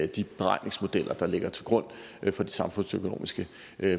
de beregningsmodeller der ligger til grund for de samfundsøkonomiske